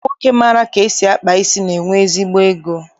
Ụmụnwoke maara ka esi akpa isi, na-enwe ezigbo ego